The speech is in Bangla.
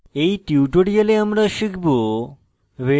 in tutorial আমরা শিখব